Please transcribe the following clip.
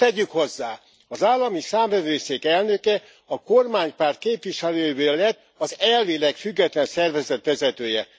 S tegyük hozzá az Állami Számvevőszék elnöke a kormánypárt képviselőjéből lett az elvileg független szervezet vezetője.